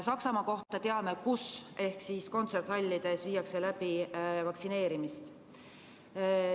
Saksamaa kohta teame, kus vaktsineeritakse – kontserdihallides.